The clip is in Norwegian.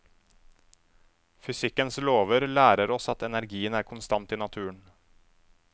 Fysikkens lover lærer oss at energien er konstant i naturen.